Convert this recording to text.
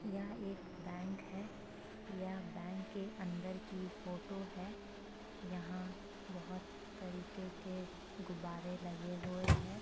यह एक बैंक है। यह बैंक के अंदर की फोटो है। यहां बोहोत तरीके के गुब्बारे लगे हुए हैं।